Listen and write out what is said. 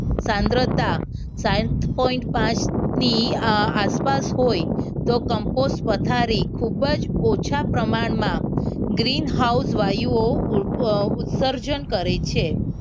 સાંદ્રતા સાત point પાંચ ની આસપાસ હોય તો કમ્પોસ્ટ પથારી ખૂબ જ ઓછા પ્રમાણમાં ગgreenhouse વાયુઓ ઉત્સર્જન કરે છે.